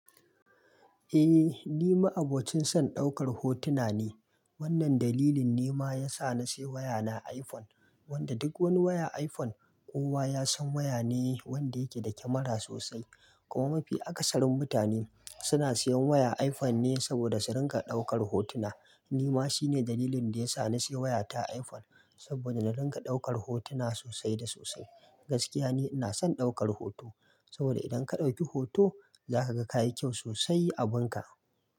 Eh ni ma abokin son ɗaukar hotuna ne. Wannan dalilin ne ma ya sa na sayi waya na iPhone, wanda duk wani waya iPhone kowa ya san waya ne wanda yake da kyamara sosai. Kuma mafi akasarin mutane suna siyan waya iPhone ne saboda su rinƙa ɗaukar hotuna. Ni ma shine dalilin da ya sa na sayi wayata iPhone saboda na rinƙa ɗaukar hotuna sosai da sosai. Gaskiya ne ina son ɗaukar hoto saboda idan ka ɗauki hoto za ka ga kayi kyau sosai a abin ka.